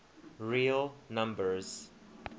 real numbers